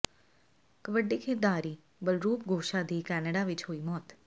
ਕਬੱਡੀ ਖਿਡਾਰੀ ਬਲਰੂਪ ਗੋਸ਼ਾ ਦੀ ਕੈਨੇਡਾ ਵਿਚ ਹੋਈ ਮੌਤ